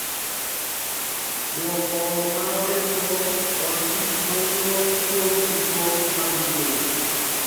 Dwoko ma odeko kod gik ma wuok kuom tudruok mag mbui